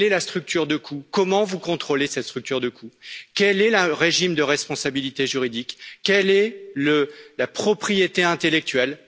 Quelle est la structure de coûts, comment vous contrôlez cette structure de coûts, quel est le régime de responsabilité juridique, quelle est la propriété intellectuelle?